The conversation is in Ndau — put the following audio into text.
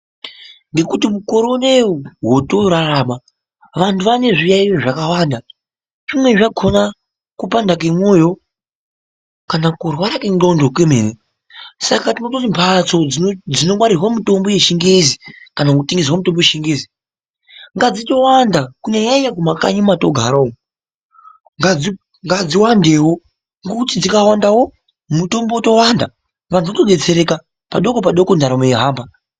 Ngokuti mukore unoyi hotorarama vanhu vane zviyayiyo zvakawanda zvimweni zvakoma kupanda kwemoyo kana kurwara kwenxlondo kwemene saka tinototi mhatso dzinongwarirwe mitombo yechingezi kana kutengeserwe mitombo yechingezi ngadzitowanda kunyanya kumankanyi kwatinogara umu ngadziwandewo, ngekuti dzikawandawo mutombo wotowanda anhu otodetsereka padoko padoko ndaramo yotohamba.